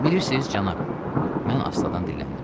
Bilirsiniz, cənab, mən astadan dilləndim.